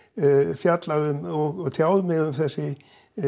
fjallað um og tjáð mig um þessi